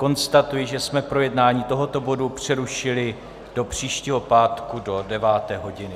Konstatuji, že jsme projednání tohoto bodu přerušili do příštího pátku do 9. hodiny.